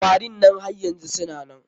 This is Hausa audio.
Kwarin nan har yanzu suna nan?